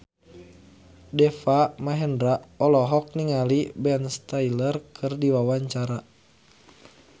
Deva Mahendra olohok ningali Ben Stiller keur diwawancara